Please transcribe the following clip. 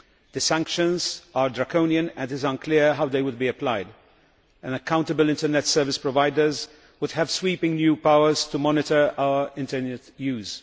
The sanctions are draconian and it is unclear how they would be applied. Accountable internet service providers would have sweeping new powers to monitor our internet use.